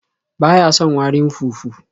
Ba ya son warin fufu.